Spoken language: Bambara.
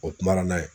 O kuma na